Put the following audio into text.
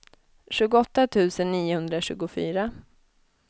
tjugoåtta tusen niohundratjugofyra